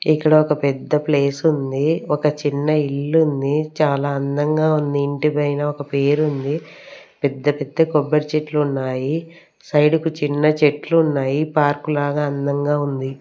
ఇక్కడ ఒక పెద్ద ప్లేస్ ఉంది ఒక చిన్న ఇల్లు ఉంది చాలా అందంగా ఉంది ఇంటిపైన ఒక పేరు ఉంది పెద్ద పెద్ద కొబ్బరి చెట్లు ఉన్నాయి సైడ్ కి చిన్న చెట్లు ఉన్నాయి పార్కు లాగా అందంగా ఉంది.